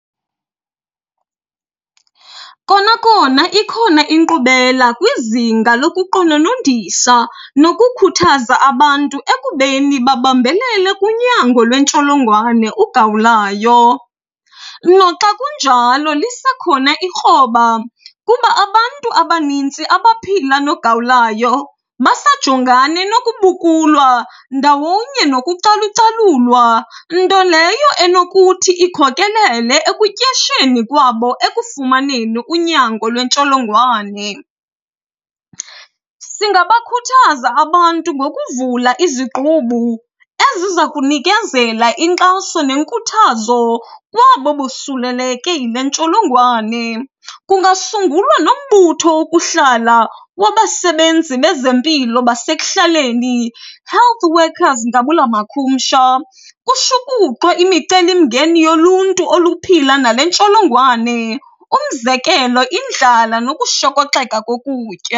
Kona kona ikhona inkqubela kwizinga lokuqononondisa nokukhuthaza abantu ekubeni babambelele kunyango lwentsholongwane ugawulayo. Noxa kunjalo lisekhona ikroba kuba abantu abanintsi abaphila nogawulayo basajongane nokubukulwa ndawonye nokucalucalulwa, nto leyo enokuthi ikhokelele ekutyesheni kwabo ekufumaneni unyango lwentsholongwane. Singabakhuthaza abantu ngokuvula izigqubu eziza kunikezela inkxaso nenkuthazo kwabo bosuleleke yile ntsholongwane. Kungasungulwa nombutho wokuhlala wabasebenzi bezempilo basekuhlaleni, health workers ngabula makhumsha. Kushukuxwe imicelimngeni yoluntu oluphila nale ntsholongwane umzekelo, indlala nokushokoxeka kokutya.